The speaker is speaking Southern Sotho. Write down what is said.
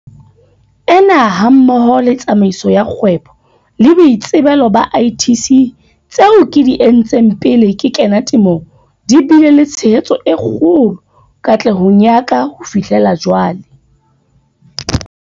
Ena hammoho le Tsamaiso ya Kgwebo le Boitsebelo ba ITC tseo ke di entseng pele ke kena temong di bile le tshehetso e kgolo katlehong ya ka ho fihlela jwale.